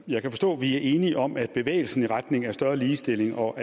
jeg kan forstå at vi er enige om at bevægelsen i retning af større ligestilling og